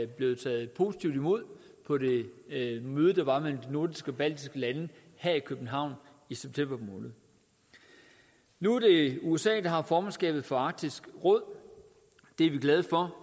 blev taget positivt imod på det møde der var mellem de nordiske og baltiske lande her i københavn i september måned nu er det usa der har formandskabet for arktisk råd og det er vi glade for